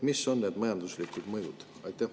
Mis on need majanduslikud mõjud?